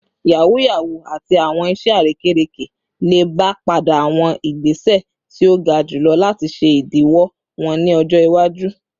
Yahoo yahoo ati awọn iṣẹ arekereke le ba pade awọn igbese ti o ga julọ lati ṣe idiwọ wọn ni ọjọ iwaju